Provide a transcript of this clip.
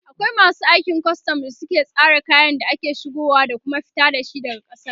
akwai masu aikin custom da suke tsare kayan da ake shigowa da Kuma fita da shi daga kasar